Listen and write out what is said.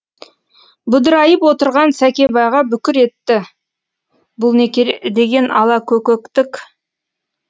бұдырайып отырған сәкебайға бүкір етті бұл не деген алакөкөктік